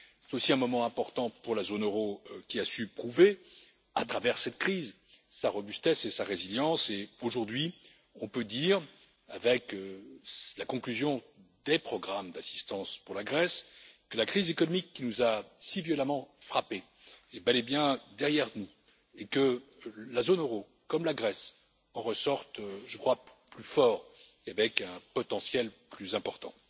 C'est aussi un moment important pour la zone euro qui a su prouver, à travers cette crise, sa robustesse et sa résilience, et aujourd'hui on peut dire, avec la conclusion des programmes d'assistance pour la Grèce, que la crise économique qui nous a si violemment frappés est bel et bien derrière nous et que la zone euro, comme la Grèce, en ressortent, je crois, plus fortes et avec un potentiel plus important.